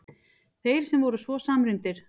Þeir sem voru svo samrýndir!